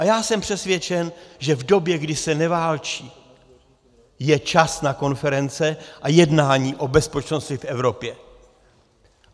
A já jsem přesvědčen, že v době, kdy se neválčí, je čas na konference a jednání o bezpečnosti v Evropě.